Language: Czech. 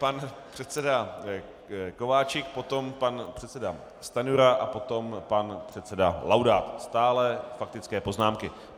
Pan předseda Kováčik, potom pan předseda Stanjura a potom pan předseda Laudát, stále faktické poznámky.